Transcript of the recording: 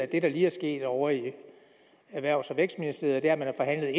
det der lige er sket ovre i erhvervs og vækstministeriet er at man har forhandlet